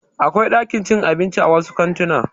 Akwai ɗakin cin abinci a wasu kantuna.